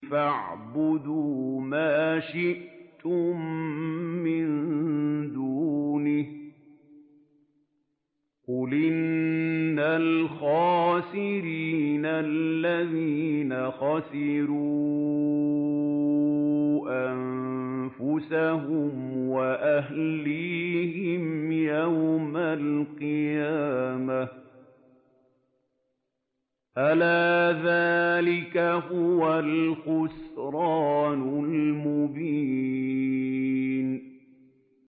فَاعْبُدُوا مَا شِئْتُم مِّن دُونِهِ ۗ قُلْ إِنَّ الْخَاسِرِينَ الَّذِينَ خَسِرُوا أَنفُسَهُمْ وَأَهْلِيهِمْ يَوْمَ الْقِيَامَةِ ۗ أَلَا ذَٰلِكَ هُوَ الْخُسْرَانُ الْمُبِينُ